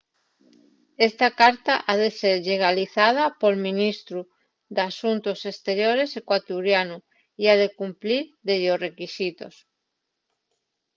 esta carta ha de ser llegalizada pol ministru d’asuntos esteriores ecuatorianu y ha de cumplir dellos requisitos